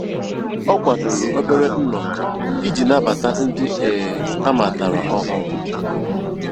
Ọ kwadoro obere nnọkọ iji nabata ndị um ha matara ọhụrụ. um